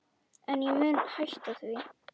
En ég mun hætta því.